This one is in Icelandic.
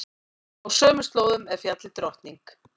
Á sömu slóðum er fjallið Drottning.